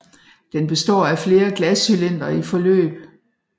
Den består af flere glascylindre i forløb